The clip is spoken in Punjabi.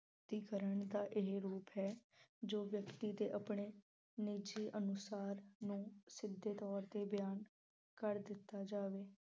ਦਾ ਇਹ ਰੂਪ ਹੈ ਜੋ ਵਿਅਕਤੀ ਦੇ ਆਪਣੇ ਨਿੱਜੀ ਅਨੁਸਰਣ ਨੂੰ ਸਿੱਧੇ ਤੌੌਰ ਤੇ ਬਿਆਨ ਕਰ ਦਿੱਤਾ ਜਾਵੇ।